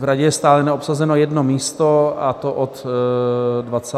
V Radě je stále neobsazeno jedno místo, a to od 25. května.